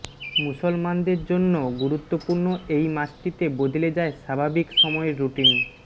মুসলমানদের জন্য গুরুত্বপূর্ণ এই মাসটিতে বদলে যায় স্বাভাবিক সময়ের রুটিন